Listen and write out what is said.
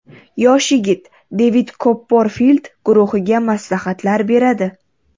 Yosh yigit Devid Kopperfild guruhiga maslahatlar beradi.